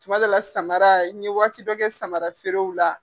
Tuma dɔw la samara. N ye waati dɔ kɛ samara feerew la.